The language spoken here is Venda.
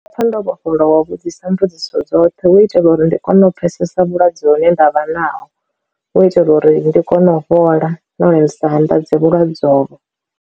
Ndi pfha ndo vhofholowa wa vhudzisa mbudziso dzoṱhe hu itela uri ndi kone u pfhesesa vhulwadze hune ndavha naho, hu itela uri ndi kone u fhola no lin sa anḓadze vhulwadze ovho.